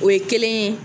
O ye kelen ye